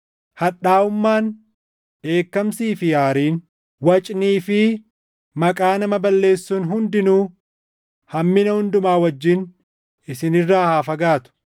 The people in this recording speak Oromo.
Hadhaaʼummaan, dheekkamsii fi aariin, wacnii fi maqaa nama balleessuun hundinuu hammina hundumaa wajjin isin irraa haa fagaatu.